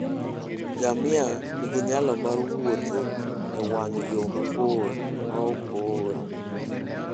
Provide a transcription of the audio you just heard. Ngamia nigi nyalo mar wuotho e wang' yo mabor maok ool.